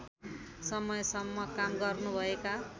समयसम्म काम गर्नुभएका